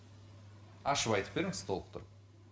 ашып айтып беріңіз толықтырып